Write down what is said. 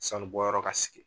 Sanu bɔyɔrɔ ka sigi